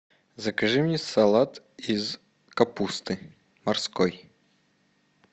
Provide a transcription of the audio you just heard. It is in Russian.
закажи мне салат из капусты морской